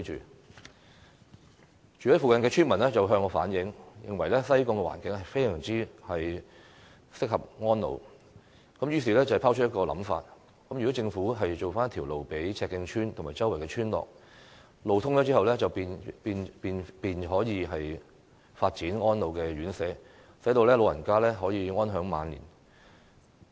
有住在附近的村民向我反映，指西貢環境適合安老，因而拋出一個想法，希望政府為赤徑村及附近村落興建道路，當路通後，便可以發展安老院舍，讓長者安享晚年。